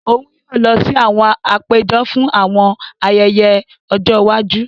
Òun yóò lọ si àwọn àpéjọ fún àwọn ayẹyẹ ojó iwájú.